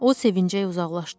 O sevinclə uzaqlaşdı.